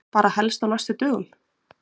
Bara helst á næstu dögum.